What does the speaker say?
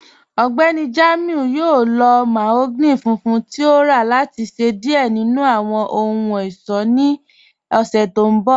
Ọgbẹ́ni Jamiu yọ̀ò lọ̀ mahogany fùnfùn tí o rà láti ṣẹ diẹ̀ nínu awọn ọhun-ọṣọ́ ní ọ̀ṣẹ̀ tó nbọ̀.